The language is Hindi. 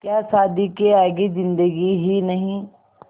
क्या शादी के आगे ज़िन्दगी ही नहीं